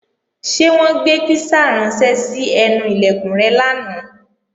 Ṣé wọ́n gbé písà ránṣẹ́ sí ẹnu Ilẹ̀kùn rẹ lánàá?